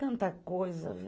Tanta coisa, viu?